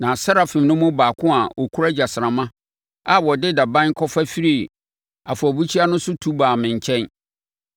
Na serafim no mu baako a ɔkura gyasramma, a ɔde daban kɔfa firii afɔrebukyia no so tu baa me nkyɛn.